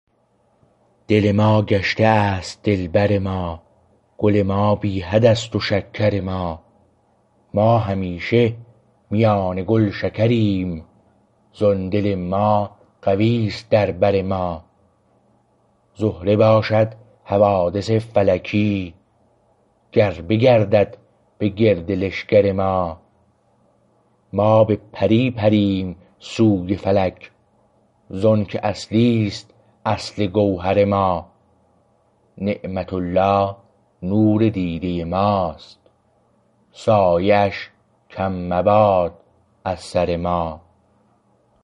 دل ما گشته است دلبر ما گل ما بی حد است و شکر ما ما همیشه میان گل شکریم زان دل ما قوی است در بر ما زهره باشد حوادث فلکی گر بگردد به گرد لشکر ما ما به پری پریم سوی فلک زانکه اصلی است اصل گوهر ما نعمت الله نور دیده ما است سایه اش کم مباد از سر ما